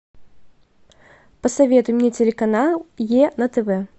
посоветуй мне телеканал е на тв